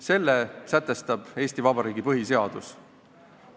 Selle sätestab Eesti Vabariigi põhiseadus.